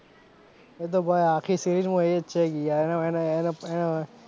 એતો ભાઈ આખી series માં એજ છે યાર